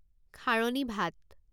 খাৰণী ভাত